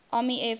army air forces